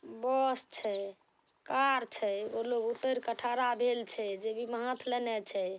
बस छै कार छै। एगो लोग उतर के ठरा भेल छै। जेबी में हाथ लेने छै।